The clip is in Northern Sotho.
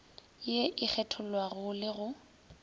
ye e kgethollago le go